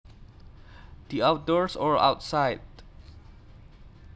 The outdoors or outside